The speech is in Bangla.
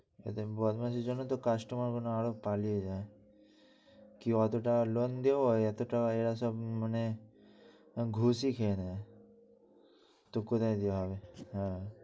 এদের বদমাসির জন্য তো customer মনে হয় আরও পালিয়ে যায় এত টাকা loan দেব এতো টাকা এরা সব মানে ঘুষিই খেয়ে নেয়। তো কোথায় কি হবে?